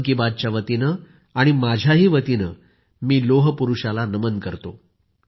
मन की बातच्या वतीनं आणि माझ्याही वतीनं मी लोहपुरूषाला नमन करतो